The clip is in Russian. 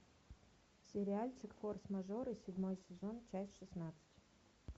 сериальчик форс мажоры седьмой сезон часть шестнадцать